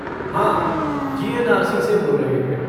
हाँ, जी.एन.आर.सी. से बोल रहे हैं।